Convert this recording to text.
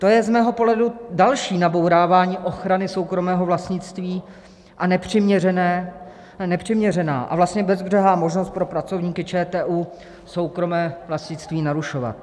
To je z mého pohledu další nabourávání ochrany soukromého vlastnictví a nepřiměřená a vlastně bezbřehá možnost pro pracovníky ČTÚ soukromé vlastnictví narušovat.